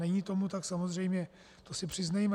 Není tomu tak, samozřejmě si to přiznejme.